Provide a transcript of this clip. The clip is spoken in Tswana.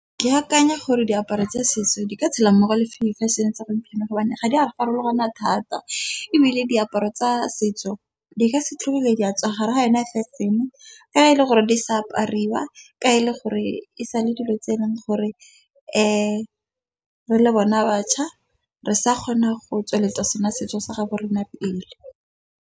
Ke akanya gore diaparo tsa setso di ka tshela mmogo le di feshene tsa gompieno, gobane ga di a farologana thata. Ebile diaparo tsa setso di ka se tlhole di a tswa gare ga yona feshene, ka e le gore di sa apariwa. Ka e le gore e sa le dilo tse e leng gore re le bona baša re sa kgona go tsweletsa sena setso sa gabo rena pele.